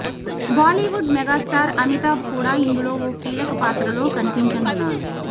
Bollywood megastar Amitabh కూడా ఇందులో ఓ కీలక పాత్రలో కనిపించనున్నారు